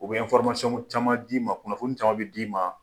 O bɛ caman d'i ma kunnafoni caman bɛ d'i ma